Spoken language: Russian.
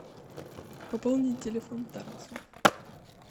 пополни телефон тарасу